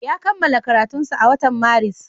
Ya kammala karatunsa a watan Maris.